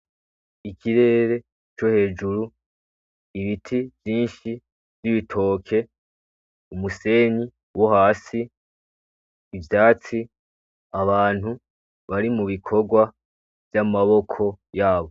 Ikirere co hejuru ibiti vyinshi n’ibitoke umusenyi wo hasi ivyatsi abantu bari mu bikorwa vy’amaboko yabo.